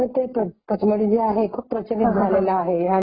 आणि पुन्हा तिथे वॉटरफॉल वगैरे आहे असं मी ऐकलेले आहे .